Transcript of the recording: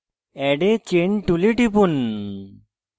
add a chain tool টিপুন